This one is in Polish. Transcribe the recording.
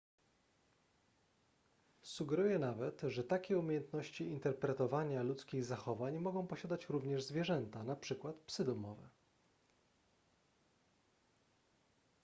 sugeruje nawet że takie umiejętności interpretowania ludzkich zachowań mogą posiadać również zwierzęta np psy domowe